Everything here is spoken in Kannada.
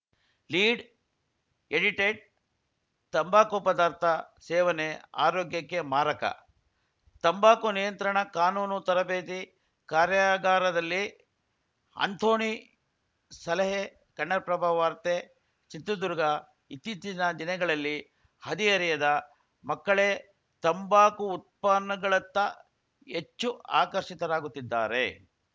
ಲೀಡ್‌ ಎಡಿಟೆಡ್‌ ತಂಬಾಕು ಪದಾರ್ಥ ಸೇವನೆ ಆರೋಗ್ಯಕ್ಕೆ ಮಾರಕ ತಂಬಾಕು ನಿಯಂತ್ರಣ ಕಾನೂನು ತರಬೇತಿ ಕಾರ್ಯಾಗರದಲ್ಲಿ ಅಂಥೋನಿ ಸಲಹೆ ಕನ್ನಡಪ್ರಭ ವಾರ್ತೆ ಚಿತ್ರದುರ್ಗ ಇತ್ತೀಚಿನ ದಿನಗಳಲ್ಲಿ ಹದಿಹರೆಯದ ಮಕ್ಕಳೇ ತಂಬಾಕು ಉತ್ಪನ್ನಗಳತ್ತ ಹೆಚ್ಚು ಆಕರ್ಷಿತರಾಗುತ್ತಿದ್ದಾರೆ